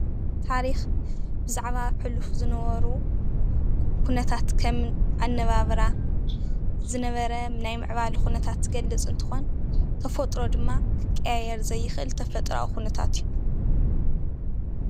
ታሪኽ ብዛዕባ ሕሉፍ ዝነበሩ ኩንተታት ከም ኣነባብራ ዝነበረ ናይ ምዕባለ ኩነታት ዝገልፅ እንትኾን፣ ተፈጥሮ ድማ ክቀያየር ዘይኽእል ተፈጥራዊ ኩነታት እዩ፡፡